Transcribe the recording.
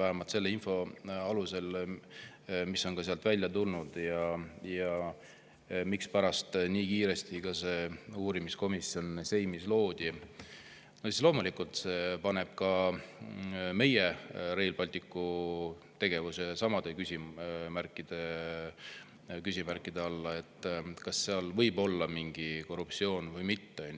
vähemalt selle info alusel, mis on välja tulnud, ja mispärast nii kiiresti see uurimiskomisjon seimis loodi, on loomulikult ka meie Rail Balticu tegevus sama küsimärgi all, kas seal võib olla korruptsiooni või mitte.